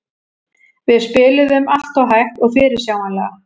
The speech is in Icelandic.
Við spiluðum alltof hægt og fyrirsjáanlega.